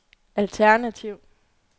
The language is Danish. alternativ